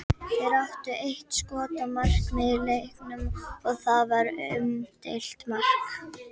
Þeir áttu eitt skot á markið í leiknum og það var umdeilt mark.